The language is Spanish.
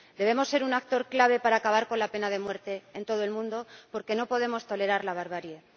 Debemos ser un actor clave para acabar con la pena de muerte en todo el mundo, porque no podemos tolerar la barbarie.